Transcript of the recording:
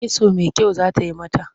Kitso mai kyau za ta yi mata.